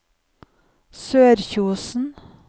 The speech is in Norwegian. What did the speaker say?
Sørkjosen